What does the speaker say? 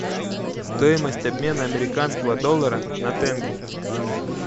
стоимость обмена американского доллара на тенге